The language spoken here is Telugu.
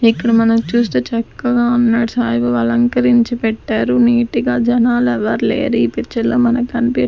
ఇక్కడ మనం చూస్తే చక్కగా ఉన్నాడు సాయిబాబా అలంకరించి పెట్టారు నీట్ గా జనాలు ఎవరు లేరు ఈ పిక్చర్ లో మనం కనిపి --